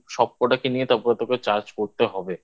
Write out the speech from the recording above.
সবকটাকে নিয়ে তারপরে তো করে charge করতে হবে।